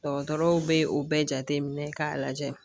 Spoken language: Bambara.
Dɔgɔtɔrɔw bɛ o bɛɛ jateminɛ k'a lajɛ